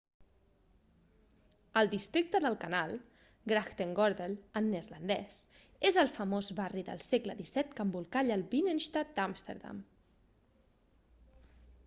el districte del canal grachtengordel en neerlandès és el famós barri del segle xvii que envolcalla el binnenstad d'amsterdam